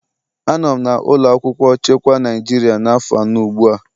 Anọ m na ụlọ akwụkwọ chekwa Naịjirịa afọ anọ ugbu a.